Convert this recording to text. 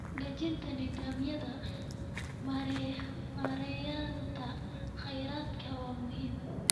Dejinta nidaamyada maareynta kheyraadka waa muhiim.